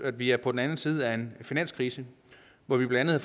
at vi er på den anden side af en finanskrise hvor vi blandt andet